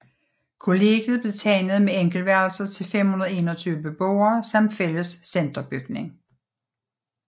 Kollegiet blev tegnet med enkeltværelser til 521 beboere samt fælles centerbygning